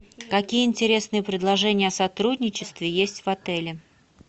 какие интересные предложения о сотрудничестве есть в отеле